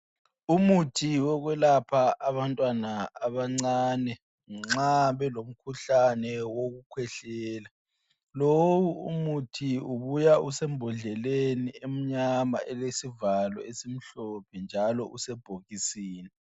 Umuthi wokwelapha abantwana abancane ,nxa belomkhuhlane wokukhwehlela. Lowu umuthi ubuya usembodleleni emnyama elesivalo esimhlophe njalo usebhokisini.